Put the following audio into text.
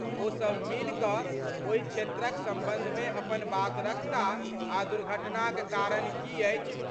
ओ सभ मिलि क ओहि क्षेत्रक संबंधमे अपन बात रखताह आ दुर्घटनाक कारण की अछि।